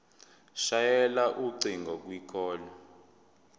shayela ucingo kwicall